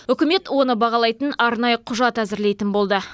үкімет оны бағалайтын арнайы құжат әзірлейтін болды